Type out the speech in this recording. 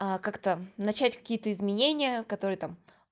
как-то начать какие-то изменения которые там